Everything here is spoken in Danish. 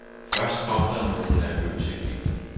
Først kom der nogle nervøse glimt.